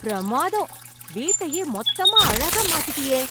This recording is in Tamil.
பிரமாதம்.. வீட்டையே மொத்தமா அழகா மாத்திட்டியே